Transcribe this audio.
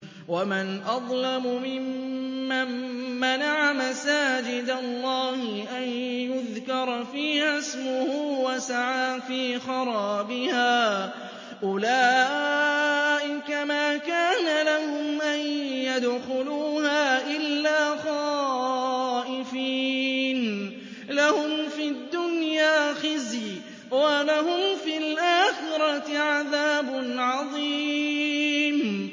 وَمَنْ أَظْلَمُ مِمَّن مَّنَعَ مَسَاجِدَ اللَّهِ أَن يُذْكَرَ فِيهَا اسْمُهُ وَسَعَىٰ فِي خَرَابِهَا ۚ أُولَٰئِكَ مَا كَانَ لَهُمْ أَن يَدْخُلُوهَا إِلَّا خَائِفِينَ ۚ لَهُمْ فِي الدُّنْيَا خِزْيٌ وَلَهُمْ فِي الْآخِرَةِ عَذَابٌ عَظِيمٌ